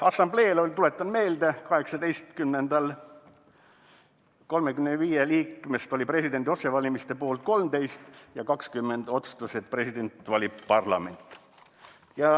" Assambleel, tuletan meelde, 35 liikmest oli presidendi otsevalimiste poolt 13 ja 20 otsustas, et presidenti valib parlament.